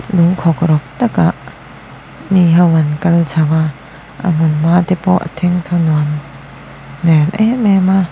lung khawkrawk tak ah mi ho an kal chho a a hmun hma te pawh thengthaw nuam hmel em em a.